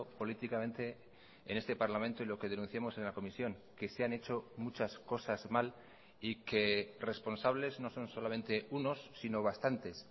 políticamente en este parlamento y lo que denunciamos en la comisión que se han hecho muchas cosas mal y que responsables no son solamente unos sino bastantes